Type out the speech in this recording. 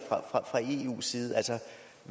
sige